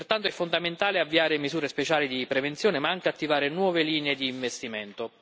Pertanto, è fondamentale avviare misure speciali di prevenzione ma anche attivare nuove linee di investimento.